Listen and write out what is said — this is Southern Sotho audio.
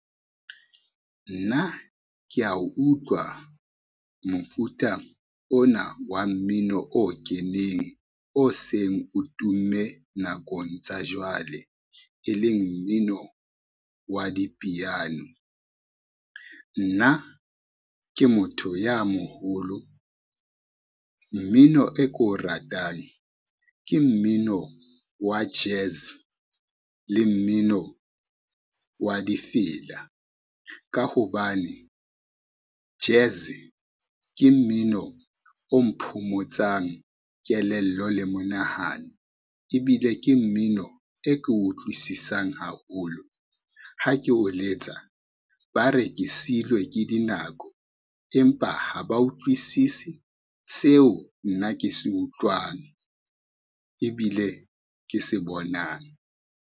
Nna kea utlwa mofuta ona wa mmino o keneng oseng o tumme nakong tsa jwale e leng mmino wa dipiano. Nna ke motho ya moholo, mmino e ko ratang ke mmino wa jazz le mmino wa difela, ka hobane jazz ke mmino o mphomotsang kelello le monahano ebile ke mmino e ke utlwisisang haholo. Ha ke o letsa ba re ke seilwe ke dinako empa ha ba utlwisisi seo, nna ke se utlwane, ebile ke se bonang.